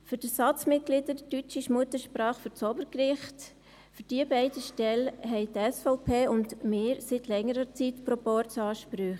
Für die beiden Stellen der Ersatzmitglieder deutscher Muttersprache für das Obergericht haben die SVP und wir seit längerer Zeit Proporzansprüche.